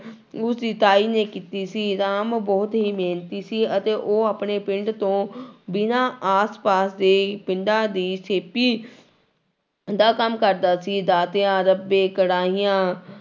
ਉਸਦੀ ਤਾਈ ਨੇ ਕੀਤੀ ਸੀ ਰਾਮ ਬਹੁਤ ਹੀ ਮਿਹਨਤੀ ਸੀ ਅਤੇ ਉਹ ਆਪਣੇ ਪਿੰਡ ਤੋਂ ਬਿਨਾਂ ਆਸਪਾਸ ਦੇ ਪਿੰਡਾਂ ਦੀ ਦਾ ਕੰਮ ਕਰਦਾ ਸੀ ਦਾਤੀਆਂ, ਰੰਬੇ, ਕੜਾਹੀਆਂ